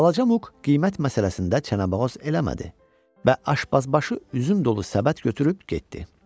Balaca Muq qiymət məsələsində çənəboğaz eləmədi və aşpazbaşı üzüm dolu səbət götürüb getdi.